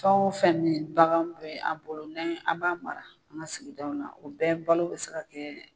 Fɛn o fɛn me yen bagan bɛ an bolo ni an b'a mara an ga sigidaw na o bɛɛ balo be se ka kɛɛ